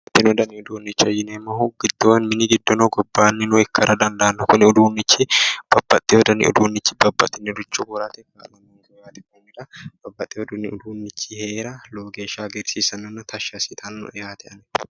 Baxxino uduunnicho yineemmohu mini giddono ikko mini gobbaannino ikkara dandaanno kuni uduunnichi babbaxxeyo dani uduunnichi babbaxxeyoricho worate kaa'lanno konnira babbayo uduunnichi heera lowo geeshsha hagiirsiissannonna tashshi assitannoe yaate